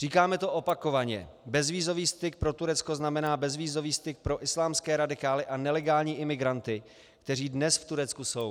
Říkáme to opakovaně - bezvízový styk pro Turecko znamená bezvízový styk pro islámské radikály a nelegální imigranty, kteří dnes v Turecku jsou.